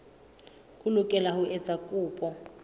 o lokela ho etsa kopo